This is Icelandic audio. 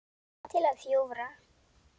Mamma til að hjúfra.